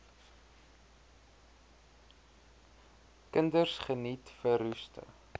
kinders geniet verroeste